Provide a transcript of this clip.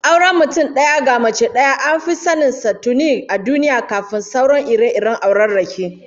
Auren mutum daya ga mace daya an fi sanin sa tuni a duniya kafin sauran ire-iren aurarraki